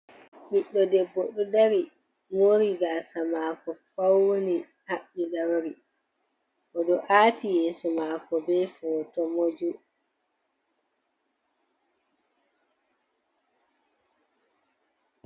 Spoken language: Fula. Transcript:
Biɗɗo debbo ɗo dari, moori gaasa maako fauni haɓɓi ɗauri, oɗo aati yeeso maako be foto moju.